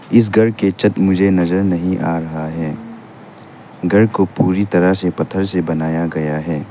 इस घर के छत मुझे नजर नहीं आ रहा है घर को पूरी तरह से पत्थर से बनाया गया है।